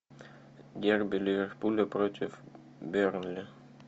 дерби ливерпуля против бернли